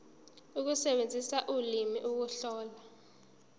ukusebenzisa ulimi ukuhlola